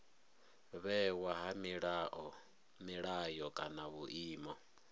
vhewa ha milayo kana vhuimo